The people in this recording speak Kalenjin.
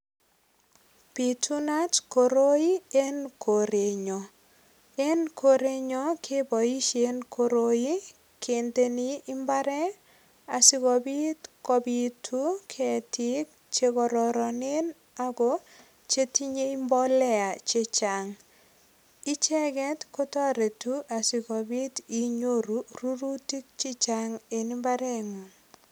Biitunat koroi eng korenyon. En korenyon keboisien koroi kindeni imbaret asigopit kopitu ketiik che kororonen ago chetinyei mbolea che chang. Icheget kotoretu asigopit inyoru rurutik che chang en imbaret.